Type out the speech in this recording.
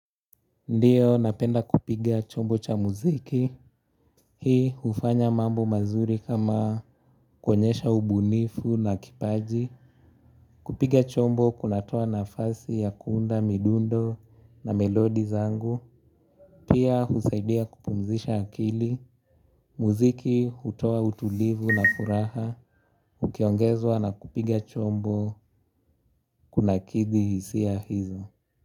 Ndiyo napenda kupiga chombo cha muziki. Hii hufanya mambo mazuri kama kuonyesha ubunifu na kipaji. Kupiga chombo kunatoa nafasi ya kuunda midundo na melodi zangu. Pia husaidia kupumzisha akili. Muziki hutoa utulivu na furaha. Ukiongezwa na kupiga chombo kunakidhi hisia hizo.